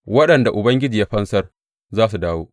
Waɗanda Ubangiji ya fansar za su dawo.